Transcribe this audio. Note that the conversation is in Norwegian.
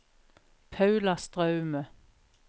Paula Straume